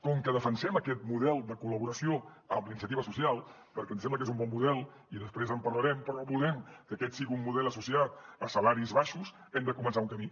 com que defensem aquest model de col·laboració amb la iniciativa social perquè ens sembla que és un bon model i després en parlarem però no volem que aquest sigui un model associat a salaris baixos hem de començar un camí